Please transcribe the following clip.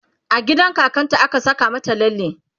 a gidan kakan ta a ka Saka mata lalle